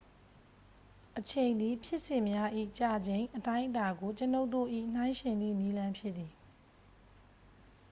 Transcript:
အချိန်သည် ဖြစ်စဉ်များ၏ ကြာချိန် အတိုင်းအတာ ကို ကျွန်ုပ်တို့၏ နှိုင်းယှဉ်သည့် နည်းလမ်းဖြစ်သည်။